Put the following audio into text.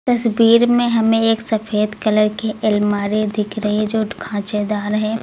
तस्वीर में हमें एक सफेद कलर की अलमारी दिख रही है जो की खाचेदार है।